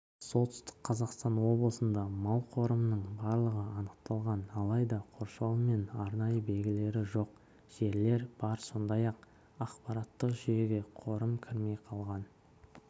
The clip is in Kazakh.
солтүстік қазақстан облысында мал қорымының барлығы анықталған алайда қоршауы мен арнайы белгілері жоқ жерлер бар сондай-ақ ақпараттық жүйеге қорым кірмей қалған